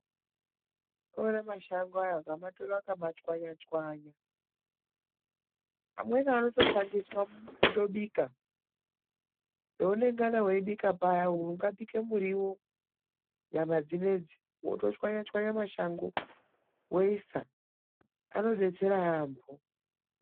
Munoona mashango, ukamatora ukamachwanyachwanya ,amweni anotoshandiswa kutobika. Paunongana weibika paya ungabike muriwo, nyama dzinedzi, wotochwanyachwanya mashango woisa anodetsera yaamho.